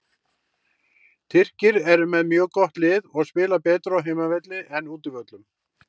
Tyrkir eru með mjög gott lið og spila betur á heimavelli en útivöllum.